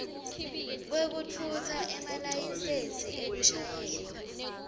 kwekutfutsa emalayisensi ekushayela